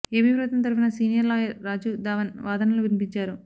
AP ప్రభుత్వం తరఫున senior lawyer Rajeev Dhavan వాదనలు వినిపించారు